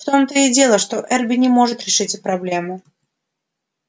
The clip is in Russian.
в том-то и дело что эрби не может решить проблему